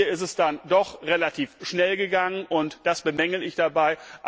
Hier ist es dann doch relativ schnell gegangen, und das bemängele ich dabei.